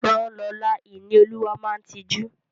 Rán Lọla! Ìníolúwa máa tijú.